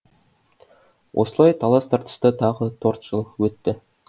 осылай талас тартыста тағы торт жыл өтті